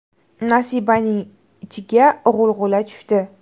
Nasibaning ichiga g‘ulg‘ula tushdi.